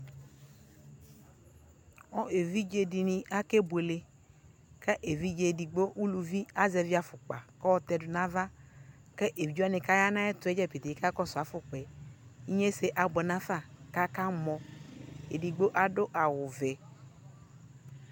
ɛvidzɛ dini akɛ bʋɛlɛ kʋ ɛvidzɛ ɛdigbɔ, ʋlʋvi azɛvi aƒʋkpa kʋ ayɔ tɛdʋ nʋ aɣa kʋ ɛvidzɛ wani kʋ aya nʋ ayɛtʋɛ dza pɛtɛɛ kakɔsʋ aƒʋkoaɛ, inyɛsɛ abʋɛ nʋ aƒa kʋ akamɔ, ɛdigbɔ adʋ awʋ vɛ